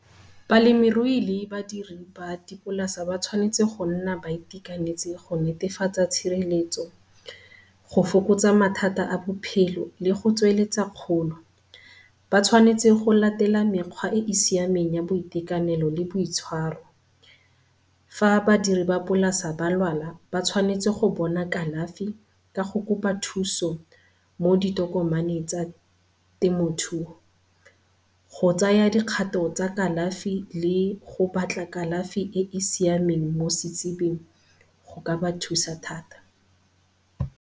Balemirui le badirisi ba dipolasa ba tshwanetse go nna ba itekanetse go netefatsa tshireletso, go fokotsa mathata a bophelo le go tsweletsa kgolo. Ba tshwanetse go latela mekgwa e e siameng ya boitekanelo le boitshwaro. Fa badiri ba polasa ba lwala ba tshwanetse go bona kalafi ka go kopa thusa mo ditokomane tsa temothuo. Go tsaya dikgato tsa kalafi le go batla kalafi e e siameng mo setsebing go ka ba thusa thata.